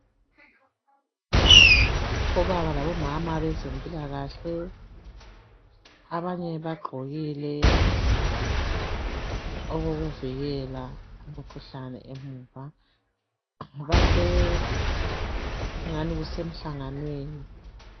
Obaba labomama bezempilakahle abanye bagqokile okokuvikela umkhuhlane emuva. Base kungani kusemhlanganweni.